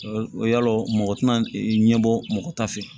Yalo mɔgɔ tɛna ɲɛbɔ mɔgɔ ta fɛ